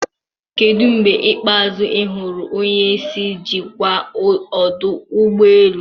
Kedu mgbe ikpeazụ ị hụrụ onye isi njikwa ọdụ ụgbọ elu?